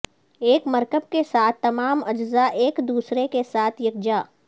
ایک مرکب کے ساتھ تمام اجزاء ایک دوسرے کے ساتھ یکجا